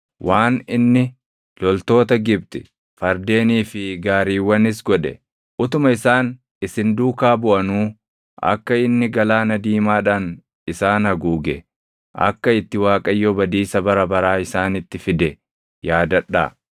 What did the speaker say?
waan inni loltoota Gibxi, fardeenii fi gaariiwwanis godhe, utuma isaan isin duukaa buʼanuu akka inni Galaana Diimaadhaan isaan haguuge, akka itti Waaqayyo badiisa bara baraa isaanitti fide yaadadhaa.